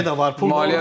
Maliyyə də var.